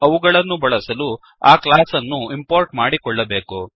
ಅವುಗಳನ್ನು ಬಳಸಲು ಆ ಕ್ಲಾಸ್ ಅನ್ನು ಇಂಪೋರ್ಟ್ ಮಾಡಿಕೊಳ್ಳಬೇಕು